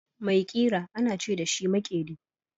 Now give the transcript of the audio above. Mai ƙira ana ce dashi makeri.